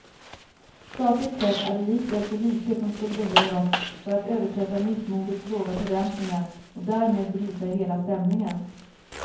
Sakligt sett är det likväl så lite som skulle behövas för att överträffa missmodets låga förväntningar och därmed bryta hela stämningen.